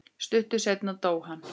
Stuttu seinna dó hann.